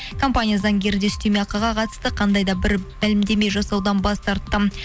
компания заңгері де үстеме ақыға қатысты қандай да бір мәлімдеме жасаудан бас тартты